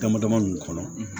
Dama dama min kɔnɔ